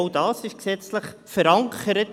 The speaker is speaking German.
Auch das ist gesetzlich verankert.